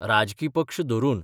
राजकी पक्ष धरून.